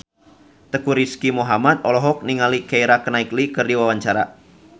Teuku Rizky Muhammad olohok ningali Keira Knightley keur diwawancara